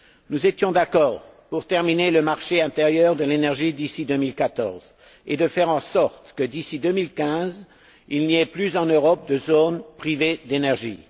Nous étions d'accord pour achever le marché intérieur de l'énergie d'ici 2014 et pour faire en sorte que, d'ici 2015, il n'y ait plus, en Europe, de zones privées d'énergie.